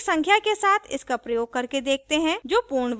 एक संख्या के साथ इसका प्रयोग करके देखते हैं जो पूर्ण वर्ग नहीं है